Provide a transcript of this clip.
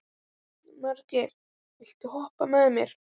Margeir, viltu hoppa með mér?